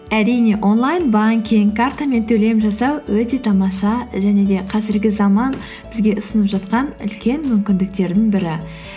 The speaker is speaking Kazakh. әрине онлайн банкинг картамен төлем жасау өте тамаша және де қазіргі заман бізге ұсынып жатқан үлкен мүмкіндіктердің бірі